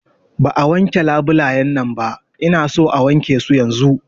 Ba a wanke labulayan nan ba, Ina son a wanke su yanzun!